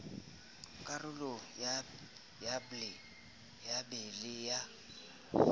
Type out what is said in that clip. karolong ya b le ya